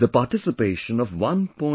The participation of 1